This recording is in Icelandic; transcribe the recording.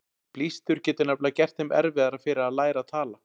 Blístur getur nefnilega gert þeim erfiðara fyrir að læra að tala.